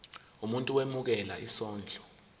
umuntu owemukela isondlo